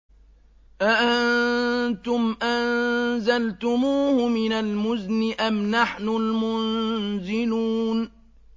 أَأَنتُمْ أَنزَلْتُمُوهُ مِنَ الْمُزْنِ أَمْ نَحْنُ الْمُنزِلُونَ